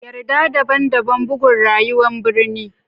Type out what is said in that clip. Yarda daban-daban bugun rayuwar birni.